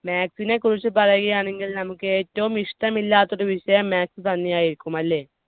maths നെ കുറിച്ച് പറയാണെങ്കിൽ നമുക്ക് ഏറ്റവും ഇഷ്ടമില്ലാത്ത ഒരു വിഷയം maths തന്നെയായിരിക്കും അല്ലെ.